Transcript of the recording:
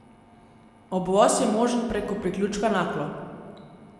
Obvoz je možen preko priključka Naklo.